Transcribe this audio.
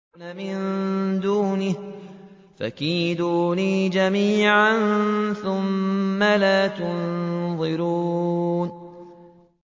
مِن دُونِهِ ۖ فَكِيدُونِي جَمِيعًا ثُمَّ لَا تُنظِرُونِ